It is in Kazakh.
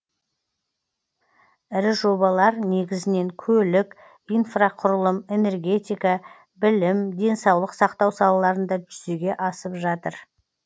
ірі жобалар негізінен көлік инфрақұрылым энергетика білім денсаулық сақтау салаларында жүзеге асып жатыр